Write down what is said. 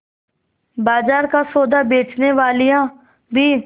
बाजार का सौदा बेचनेवालियॉँ भी